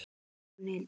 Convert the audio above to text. Sigrún Hildur.